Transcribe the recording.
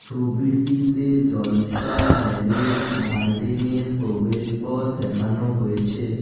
ছবিটিতে জলসা ম্যারেজ গার্ডেনের প্রবেশপথ দেখানো হয়েছে।